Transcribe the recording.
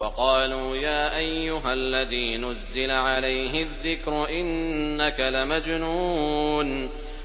وَقَالُوا يَا أَيُّهَا الَّذِي نُزِّلَ عَلَيْهِ الذِّكْرُ إِنَّكَ لَمَجْنُونٌ